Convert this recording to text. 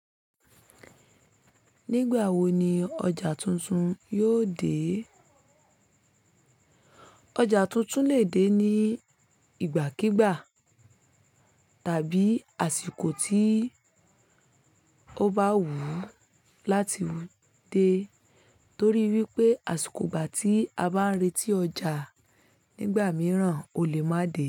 Nígbà wo ni ọjà tuntun yóò dé? Ọjà tuntun lè dé ní ìgbà kigbà tàbí àsìkò tí ó bá wù láti dé, torí wípé àsìkò ìgbà tí a bá ń retí ọjà nígbà mìíràn o lè máa dé.